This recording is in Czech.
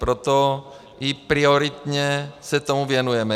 Proto i prioritně se tomu věnujeme.